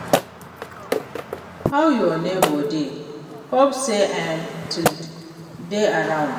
How your neighbor dey, hope say im still dey around?